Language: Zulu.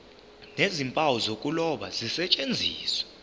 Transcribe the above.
nezimpawu zokuloba zisetshenziswe